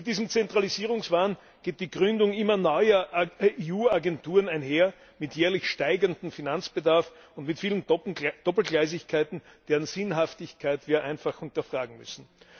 Mit diesem Zentralisierungswahn geht die Gründung immer neuer EU Agenturen einher mit jährlich steigendem Finanzbedarf und mit vielen Doppelgleisigkeiten, deren Sinnhaftigkeit wir einfach hinterfragen müssen.